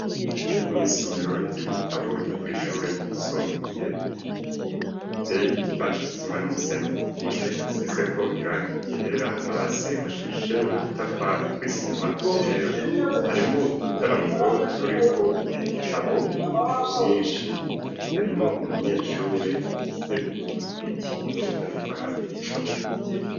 Mw'isomero ry'ibitabo ryo kw'ishure ryisumbuye riteye igipande c'isima n'umusenyi ku mpome hasizeko irangi ryera hasi hashashe udutafari tw'isima twera harimwo udutaramuro turiko ibitabo vyinshi harimwo umunyeshure afise umwitwikiro ariko araba igitabo atira.